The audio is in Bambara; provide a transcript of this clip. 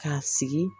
K'a sigi